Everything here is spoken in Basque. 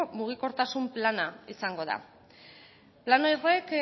mugikortasun plana izango da plan horrek